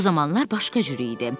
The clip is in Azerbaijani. O zamanlar başqa cür idi.